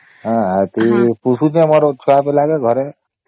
ହଁ ଆଉ ପୋଶୁଛେ ଆମର ଛୁଆ ପିଲା କେ ଘରେ